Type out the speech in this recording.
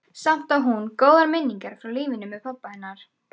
Samt á hún góðar minningar frá lífinu með pabba hennar.